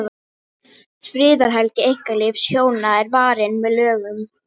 friðhelgi einkalífs hjóna er varin með lögum